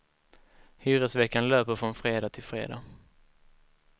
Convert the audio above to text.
Hyresveckan löper från fredag till fredag.